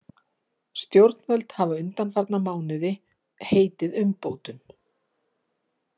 Stjórnvöld hafa undanfarna mánuði heitið umbótum